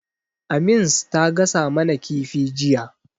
Amins ta gasa mana kifi jiya.